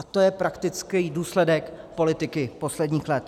A to je praktický důsledek politiky posledních let.